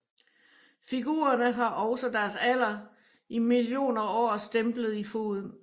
Figurerne har også deres alder i millioner år stemplet i foden